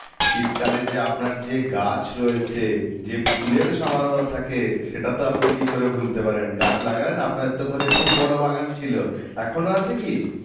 শীত কালে যে আপনার যে গাছ রয়েছে যে ফুলের থাকে সেটা তো আপনি কি করে ভুলতে পারেন গাছ লাগান না আপনাদের তো ঘরে খুব বড় বাগান ছিল এখনো আছে কি?